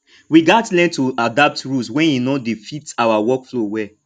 we gats learn to adapt rules wen e no dey fit our workflow well